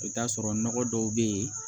I bɛ t'a sɔrɔ nɔgɔ dɔw bɛ yen